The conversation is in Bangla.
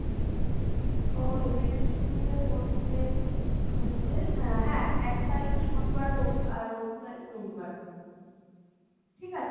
তো april এর শুরুতে পরছে হচ্ছে আহ হ্যাঁ এক তারিখ শনিবার রবিবার আর রবিবারের রবিবার, ঠিক আছে